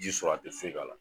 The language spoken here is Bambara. Ji sɔrɔ a ti foyi k'a la.